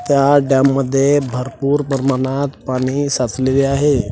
त्या डॅम मध्ये भरपूर प्रमाणात पाणी साचलेले आहे.